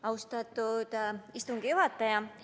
Austatud istungi juhataja!